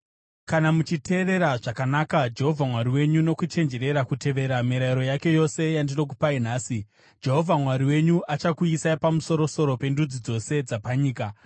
Kana muchiteerera zvakanaka Jehovha Mwari wenyu nokuchenjerera kutevera mirayiro yake yose yandinokupai nhasi, Jehovha Mwari wenyu achakuisai pamusoro-soro pendudzi dzose dzapanyika.